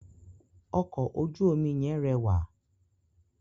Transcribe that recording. Ọkọ̀ ojú omi yẹn rẹwà.